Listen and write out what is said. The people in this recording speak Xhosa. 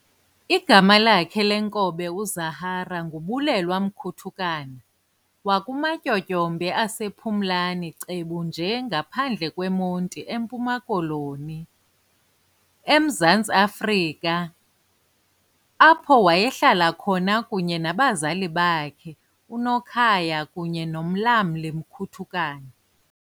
Igama lakhe leenkobe uZahara nguBulelwa Mkutukana wakumatyotyombe asePhumlani cebu nje ngaphandle kweMonti eMpuma Koloni, eMzantsi Afrika, apho wayehlala khona kunye nabazali bakhe uNokhaya kunye noMlamli Mkutukana.